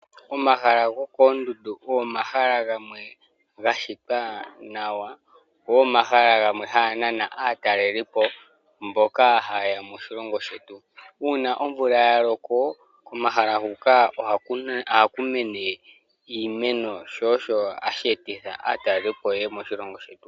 Omahala gokondundu ogo omahala gamwe gashitwa nawa go ogo omahala gamwe hanganana atalelipo mboka hayeya moshilongo shetu, una omvula yaloko komahala huka ohaku mene iimeno sho osho hashetitha atalelipo yeye moshilongo shetu .